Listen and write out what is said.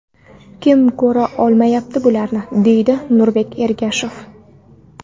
Kim ko‘ra olmayapti bularni?”, deydi Nurbek Ergashev.